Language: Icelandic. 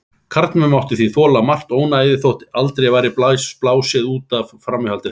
Karlmenn máttu því þola margt ónæðið þótt aldrei væri blásið út af framhjáhaldi þeirra.